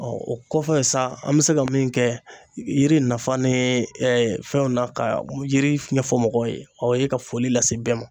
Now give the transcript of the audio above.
o kɔfɛ sa ,an be se ka min kɛ yiri nafa ni fɛnw na ka yiri ɲɛfɔ mɔgɔw ye, o ye ka foli lase bɛɛ ma.